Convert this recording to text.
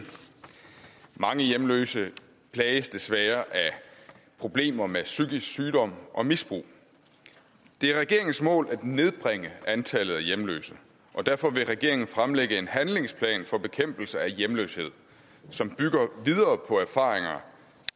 mange hjemløse plages desværre af problemer med psykisk sygdom og misbrug det er regeringens mål at nedbringe antallet af hjemløse og derfor vil regeringen fremlægge en handlingsplan for bekæmpelse af hjemløshed som bygger videre på erfaringer